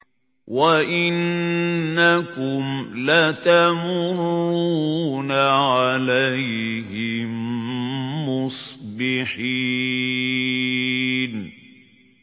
وَإِنَّكُمْ لَتَمُرُّونَ عَلَيْهِم مُّصْبِحِينَ